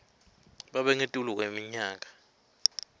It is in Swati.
babe ngetulu kweminyaka